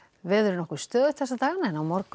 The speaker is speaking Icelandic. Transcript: veður er nokkuð stöðugt þessa dagana en á morgun